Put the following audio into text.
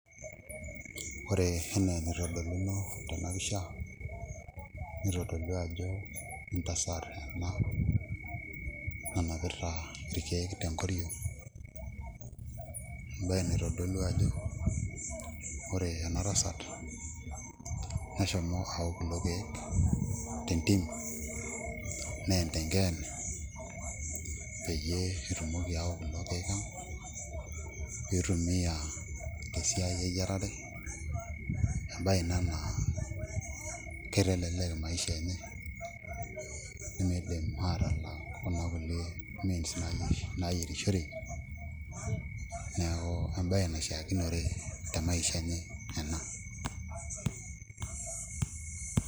Ore enaa enitodoluno tena pisha nitodolua ajo entasat ena nanapita irkeek tenkoriong' embaye naitodolua ajo ore ena tasat neshomo ayau kulo keek tentim neyen tenkeene peyie etumoki aayau kulo keek ang' pee itumiaa tesiai eyiarare embaye ina naa kitelelek maisha enye eniidim aatala kuna kulie means naayierishore, neeku embaye naishiakinore temaisha enye ena.